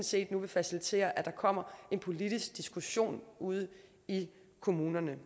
set nu vil facilitere at der kommer en politisk diskussion ude i kommunerne